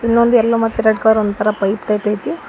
ಇನ್ನೊಂದ್ ಯಲ್ಲೋ ಮತ್ತು red colour ಒಂತರ ಪೈಪ್ ಟೈಪ್ ಐತಿ.